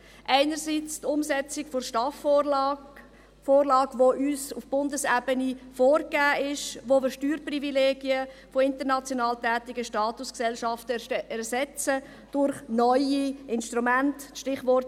Einerseits geht es um die Umsetzung der STAF-Vorlage, die uns auf Bundesebene vorgegeben ist, wo wir Steuerprivilegien von international tätigen Statusgesellschaften durch neue Instrumente ersetzen.